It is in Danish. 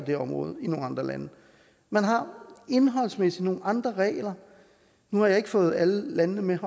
her område i nogle andre lande man har indholdsmæssigt nogle andre regler nu har jeg ikke fået alle landene med